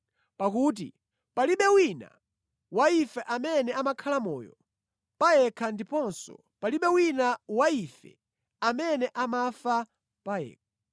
Pakuti palibe wina wa ife amene amakhala moyo pa yekha ndiponso palibe wina wa ife amene amafa pa yekha.